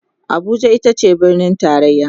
Abuja itace birnin taraya